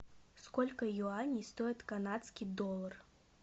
сколько юаней стоит канадский доллар